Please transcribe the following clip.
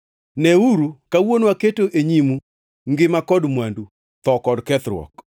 Neuru, kawuono aketo e nyimu ngima kod mwandu, tho kod kethruok.